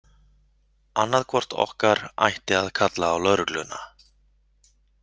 Annaðhvort okkar ætti að kalla á lögregluna.